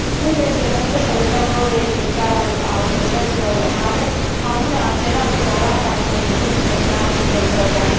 Nu trebuie însă să uităm rolul esențial al autorităților locale, anume acela de garant al coeziunii sociale și teritoriale.